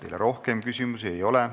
Teile rohkem küsimusi ei ole.